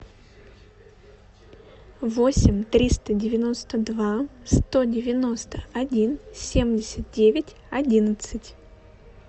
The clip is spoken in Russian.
восемь триста девяносто два сто девяносто один семьдесят девять одиннадцать